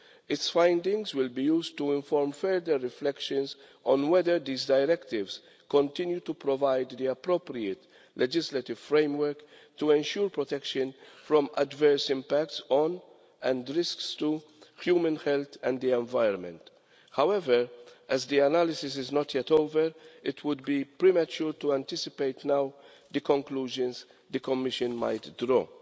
Its findings will be used to inform further reflections on whether these directives continue to provide the appropriate legislative framework to ensure protection from adverse impacts on, and risks to, human health and the environment. However, as the analysis is not yet over, it would be premature to anticipate now the conclusions the Commission might draw.